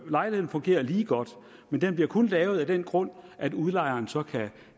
lejligheden fungerer lige godt den bliver kun lavet af den grund at udlejeren så kan